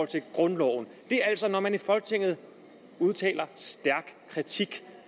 til grundloven når man i folketinget udtaler stærk kritik